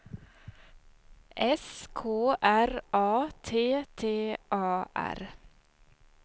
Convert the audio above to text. S K R A T T A R